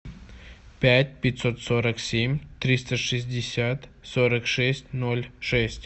пять пятьсот сорок семь триста шестьдесят сорок шесть ноль шесть